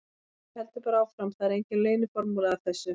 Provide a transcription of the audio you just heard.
Maður heldur bara áfram, það er engin leyniformúla að þessu.